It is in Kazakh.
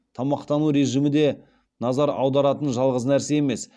тамақтану режимі де назар аударатын жалғыз нәрсе емес